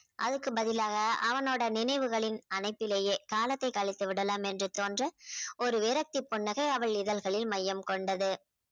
அதுக்கு பதிலாக அவனுடைய நினைவுகளின் அனைத்திலேயே காலத்தை கழித்து விடலாம் என்று தோன்ற ஒரு விரக்தி புன்னகை அவள் இதழ்களில் மையம் கொண்டது.